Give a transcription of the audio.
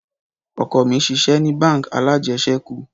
Ọkọ mi ṣiṣẹ ni bánk alájẹsẹ́kù.